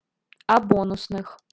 а бонусных